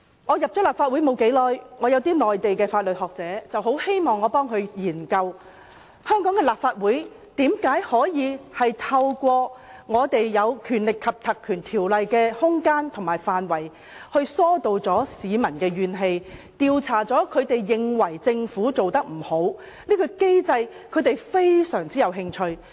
我加入立法會不久，有些內地的法律學者很希望我替他們研究，香港立法會如何透過《條例》所賦予的權力和空間，疏導市民的怨氣，調查市民認為政府做得不對的地方。